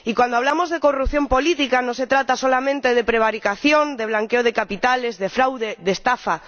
Y cuando hablamos de corrupción política, no se trata solamente de prevaricación, de blanqueo de capitales, de fraude y de estafa.